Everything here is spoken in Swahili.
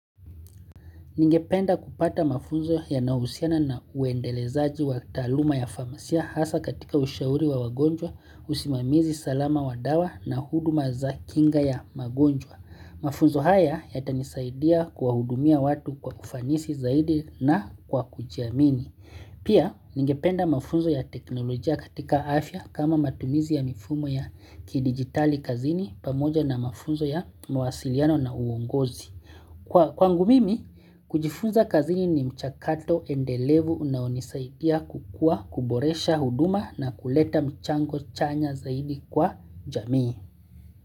Ningependa kupata mafunzo yanayohusiana na uendelezaji wa taaluma ya famasia hasa katika ushauri wa wagonjwa, usimamizi salama wa dawa na huduma za kinga ya magonjwa. Mafunzo haya yatanisaidia kuwahudumia watu kwa ufanisi zaidi na kwa kujiamini. Pia, ningependa mafunzo ya teknolojia katika afya kama matumizi ya mifumo ya kidigitali kazini pamoja na mafunzo ya mwasiliano na uongozi. Kwangu mimi, kujifuza kazini ni mchakato endelevu unaonisaidia kukua kuboresha huduma na kuleta mchango chanya zaidi kwa jamii.